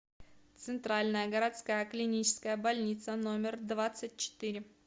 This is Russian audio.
центральная городская клиническая больница номер двадцать четыре